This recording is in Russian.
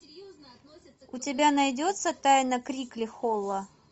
у тебя найдется тайна крикли холла